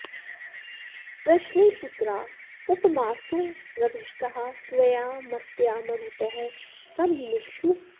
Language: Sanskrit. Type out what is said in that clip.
पृश्नेः पुत्रा उपमासो रभिष्ठाः स्वया मत्या मरुतः सं मिमिक्षुः